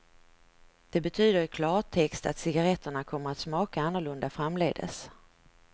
Det betyder i klartext att cigarretterna kommer att smaka annorlunda framdeles.